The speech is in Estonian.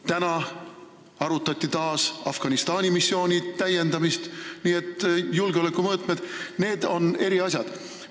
Täna arutati taas Afganistani missiooni täiendamist, nii et julgeoleku küsimused on laiemad.